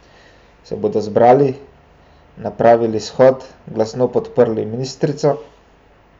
Se bodo zbrali, napravili shod, glasno podprli ministrico?